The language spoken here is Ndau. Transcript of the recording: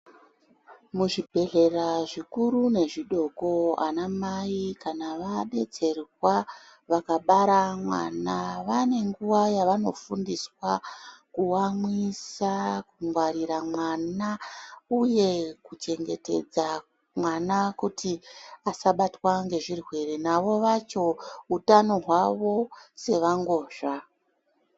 Muzvibhedhlera zvikuru nezvidoko ana mai kana vadetserwa vakabara mwana vane nguwa yavanofundiswa kuamwisa kungwarira mwana uhe kuchengetedza mwana kuti asabatwa ngezvirwere navo vacho utano hwawo sevangozva.